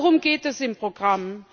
Worum geht es im Programm?